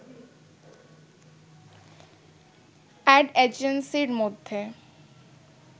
অ্যড এজেন্সির মধ্যে